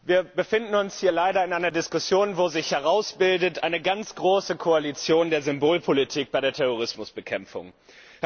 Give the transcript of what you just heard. Wir befinden uns hier leider in einer Diskussion, wo sich eine ganz große Koalition der Symbolpolitik bei der Terrorismusbekämpfung herausbildet.